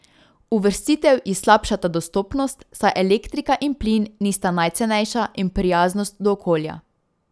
Uvrstitev ji slabšata dostopnost, saj elektrika in plin nista najcenejša, in prijaznost do okolja.